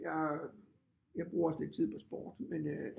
Jeg bruger også lidt tid på sport men øh